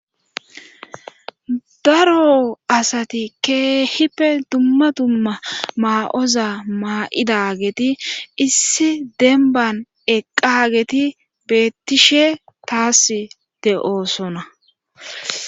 Daro asati keehippe dumma dumma maa'oza maa'ida geeti issi denban eqqageeti beettishe taas de'oosona.